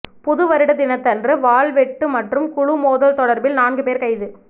புதுவருட தினத்தன்று வாள்வெட்டு மற்றும் குழு மோதல் தொடர்பில் நான்கு பேர் கைது